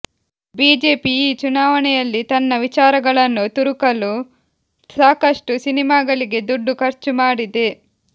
BJP ಈ ಚುನಾವಣೆಯಲ್ಲಿ ತನ್ನ ವಿಚಾರಗಳನ್ನು ತುರುಕಲು ಸಾಕಷ್ಟು ಸಿನೆಮಾಗಳಿಗೆ ದುಡ್ಡು ಖರ್ಚು ಮಾಡಿದೆ